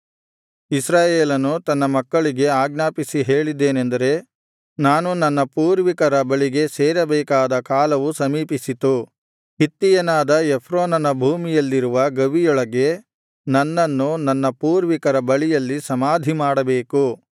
ಇಸ್ರಾಯೇಲನು ತನ್ನ ಮಕ್ಕಳಿಗೆ ಆಜ್ಞಾಪಿಸಿ ಹೇಳಿದ್ದೇನಂದರೆ ನಾನು ನನ್ನ ಪೂರ್ವಿಕರ ಬಳಿಗೆ ಸೇರಬೇಕಾದ ಕಾಲವು ಸಮೀಪಿಸಿತು ಹಿತ್ತಿಯನಾದ ಎಫ್ರೋನನ ಭೂಮಿಯಲ್ಲಿರುವ ಗವಿಯೊಳಗೆ ನನ್ನನ್ನು ನನ್ನ ಪೂರ್ವಿಕರ ಬಳಿಯಲ್ಲಿ ಸಮಾಧಿಮಾಡಬೇಕು